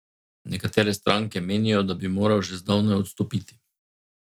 Nekatere stranke menijo, da bi moral že zdavnaj odstopiti.